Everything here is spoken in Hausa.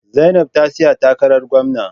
Zainab ta tsaya takarar gwamna.